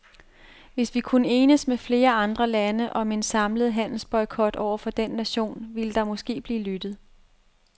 Hvis vi kunne enes med flere andre lande om en samlet handelsboykot over for den nation, ville der måske blive lyttet!